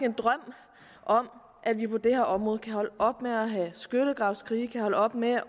en drøm om at vi på det her område kan holde op med at have skyttegravskrige kan holde op med